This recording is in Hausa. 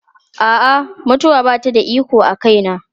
A'a, mutuwa ba ta da iko a kaina.